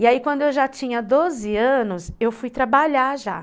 E aí, quando eu já tinha doze anos, eu fui trabalhar já.